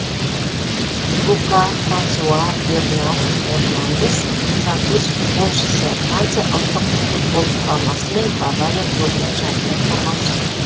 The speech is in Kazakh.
люка франсуа бернар эрнандес француз футболшысы франция ұлттық футбол құрамасы мен бавария клубының жартылай қорғаушысы